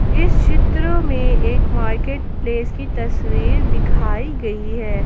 इस चित्र में एक मार्केट प्लेस की तस्वीर दिखाई गई है।